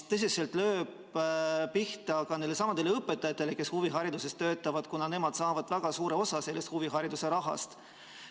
See lööb tõsiselt pihta ka nendelesamadele õpetajatele, kes huvihariduses töötavad, kuna nemad saavad väga suure osa sellest huvihariduse rahast.